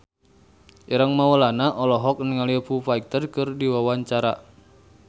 Ireng Maulana olohok ningali Foo Fighter keur diwawancara